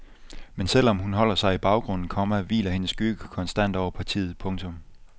Men selv om hun holder sig i baggrunden, komma hviler hendes skygge konstant over partiet. punktum